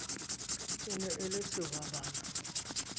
e ne e le sehwabana